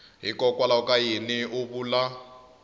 hikokwalaho ka yini u vula